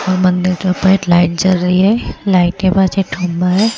और मंदिर के ऊपर लाइट जल रही है लाइट के पास एक खंभा है।